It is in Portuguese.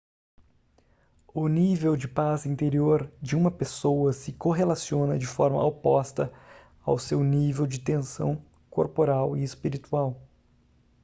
o nível de paz interior de uma pessoa se correlaciona de forma oposta ao seu nível de tensão corporal e espiritual